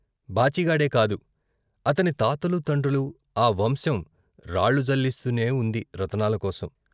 బాచిగాడే కాదు, అతని తాతలు తండ్రులు ఆ వంశం రాళ్లు జల్లిస్తూనే ఉంది రతనాల కోసం.